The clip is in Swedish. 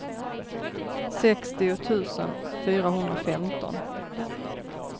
sextio tusen fyrahundrafemton